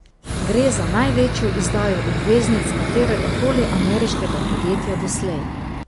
Gre za največjo izdajo obveznic katerega koli ameriškega podjetja doslej.